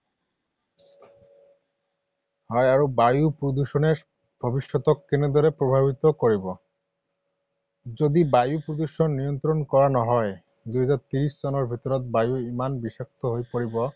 হয়, আৰু বায়ু প্ৰদূষণে ভৱিষ্যতক কেনেদৰে প্ৰভাৱিত কৰিব? যদি বায়ু প্ৰদূষণ নিয়ন্ত্ৰণ কৰা নহয়, দুই হাজাৰ ত্ৰিছ চনৰ ভিতৰত বায়ু ইমান বিষাক্ত হৈ পৰিব